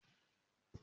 Mo ma tó ra ọkọ̀ tuntun